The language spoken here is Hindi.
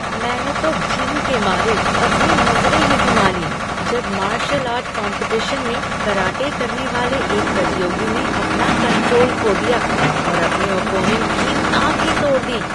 मैंने तो घिन के मारे अपनी नज़रें ही घुमा लीं जब मार्शल आर्ट कॉम्पिटिशन में कराटे करने वाले एक प्रतियोगी ने अपना कंट्रोल खो दिया और अपने ऑपोनेंट की नाक ही तोड़ दी।